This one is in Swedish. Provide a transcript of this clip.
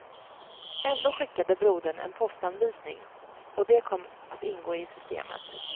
Ändå skickade brodern en postanvisning, och det kom att ingå i systemet.